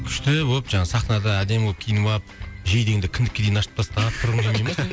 күшті боп жаңағы сахнада әдемі болып киініп ап жейдеңді кіндікке дейін ашып тастап тұрғың келмей ме